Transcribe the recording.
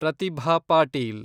Pratibha Patil